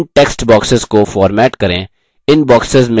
इन text boxes को format करें